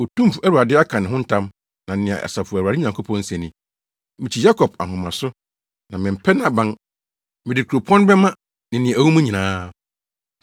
Otumfo Awurade aka ne ho ntam na nea Asafo Awurade Nyankopɔn se ni: “Mikyi Yakob ahomaso na mempɛ nʼaban; mede kuropɔn no bɛma ne nea ɛwɔ mu nyinaa.”